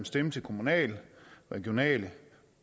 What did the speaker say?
stemme til kommunal regional